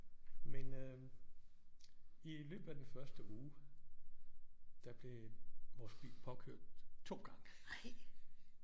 Men øh i løbet af den første uge der blev vores bil påkørt 2 gange